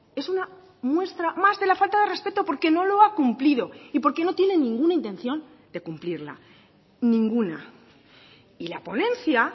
es una muestra más de la falta de respeto porque no lo ha cumplido y porque no tiene ninguna intención de cumplirla ninguna y la ponencia